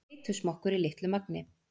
Beitusmokkur í litlu magni